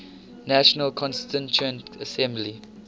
national constituent assembly